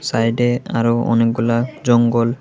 সাইডে আরো অনেকগুলা জঙ্গল।